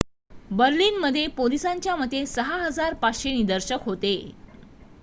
बर्लिनमध्ये पोलिसांच्या मते 6,500 निदर्शक होते